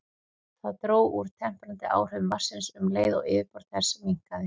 Það dró úr temprandi áhrifum vatnsins um leið og yfirborð þess minnkaði.